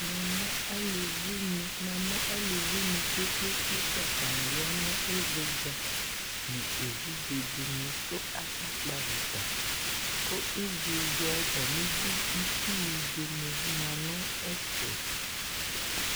̈̈̈̈̈namʊ aluvinɩ kɔ kpekpekpe, atanɩ ya nʊ ɩvɩdza, nʊ evidze dɩnɩ kʊ akakpɔ avita, kʊ itsunɩ kɔ nʊ ɩvɩdza yɛ ayidu